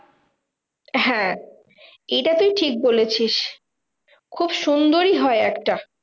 হ্যাঁ এইটা তুই ঠিক বলেছিস। খুব সুন্দরই হয় একটা।